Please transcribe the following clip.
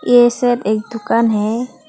ये सब एक दुकान है।